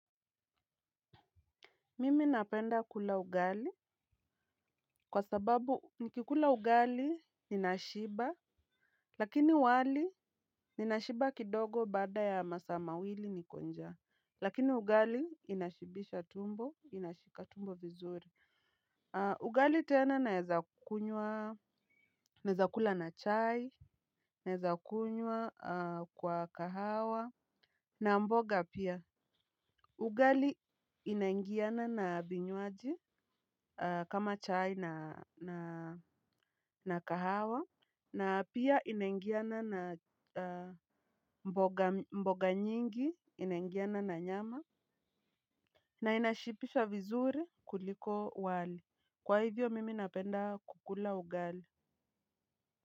Mimi napenda kula ugali, kwa sababu nikikula ugali ninashiba, lakini wali ninashiba kidogo baada ya masamawili nikonja, lakini ugali inashibisha tumbo, inashika tumbo vizuri. Ugali tena naezakunywa, naezakula na chai, naezakunywa kwa kahawa, na mboga pia. Ugali inaingiana na vinywaji kama chai na kahawa. Na pia inangiana na mboga nyingi inaingiana na nyama. Na inashibisha vizuri kuliko wali, kwa hivyo mimi napenda kukula ugali.